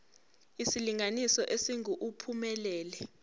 isilinganiso esingu uphumelele